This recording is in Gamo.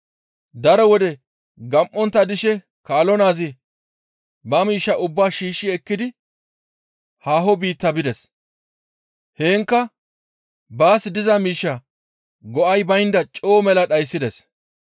«Daro wode gam7ontta dishe kaalo naazi ba miishshaa ubbaa shiishshi ekkidi haaho biitta bides; heenkka baas diza miishshaa go7ay baynda coo mela dhayssides.